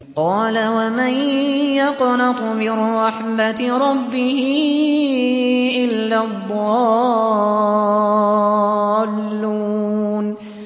قَالَ وَمَن يَقْنَطُ مِن رَّحْمَةِ رَبِّهِ إِلَّا الضَّالُّونَ